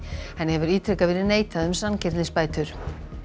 hefur ítrekað verið neitað um sanngirnisbætur